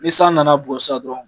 Ni san nana a bugɔ dɔrɔn